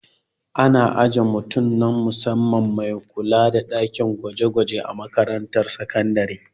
Ana ajiye mutum na musamman mai kula da ɗakin gwaje-gwaje a makarantar sakandare.